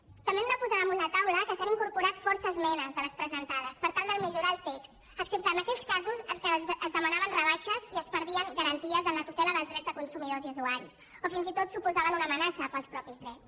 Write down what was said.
també hem de posar damunt la taula que s’han incorporat força esmenes de les presentades per tal de millorar el text excepte en aquells casos en què es demanaven rebaixes i es perdien garanties en la tutela dels drets de consumidors i usuaris o fins i tot suposaven una amenaça per als mateixos drets